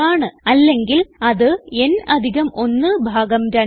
അല്ലെങ്കിൽ അത് n അധികം 1 ഭാഗം 2ആണ്